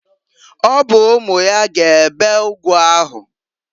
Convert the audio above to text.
Ọ bụ umu ya ga ebe ụgụ ahụ.